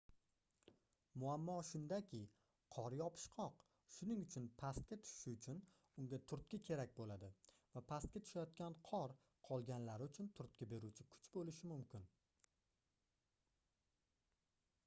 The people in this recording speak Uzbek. muammo shundaki qor yopishqoq shuning uchun pastga tushishi uchun unga turtki kerak boʻladi va pastga tushayotgan qor qolganlari uchun turtki beruvchi kuch boʻlishi mumkin